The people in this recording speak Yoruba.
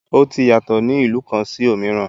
Ọtí yàtọ̀ ní ìlú kan sì òmíràn.